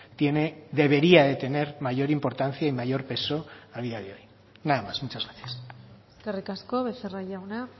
tiene debería de tener mayor importancia y mayor peso a día de hoy nada más muchas gracias eskerrik asko becerra jauna